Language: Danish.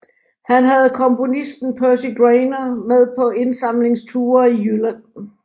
Han havde komponisten Percy Grainger med på indsamlingsture i Jylland